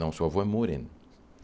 Não, seu avô é moreno.